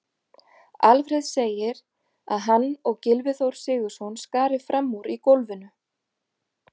Alfreð segir að hann og Gylfi Þór Sigurðsson skari fram úr í golfinu.